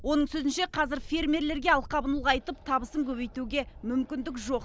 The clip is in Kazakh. оның сөзінше қазір фермерлерге алқабын ұлғайтып табысын көбейтуге мүмкіндік жоқ